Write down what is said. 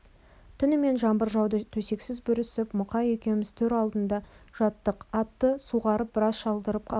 түнімен жаңбыр жауды төсексіз бүрісіп мұқай екеуміз төр алдында жаттық атты суғарып біраз шалдырып алдым